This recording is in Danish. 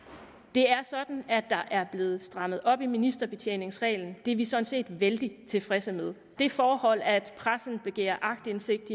det er sådan at der er blevet strammet op i ministerbetjeningsreglen det er vi sådan set vældig tilfredse med det forhold at pressen begærer aktindsigt